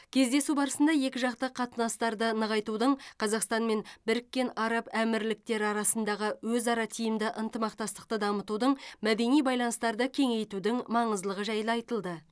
кездесу барысында екі жақты қатынастарды нығайтудың қазақстан мен біріккен араб әмірліктері арасындағы өзара тиімді ынтымақтастықты дамытудың мәдени байланыстарды кеңейтудің маңыздылығы жайлы айтылды